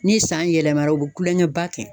Ni san yɛlɛmana, u bɛ tulonkɛ ba kɛ.